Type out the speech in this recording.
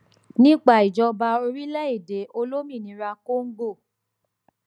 nípa ìjọba orílẹèdè olómìnira congo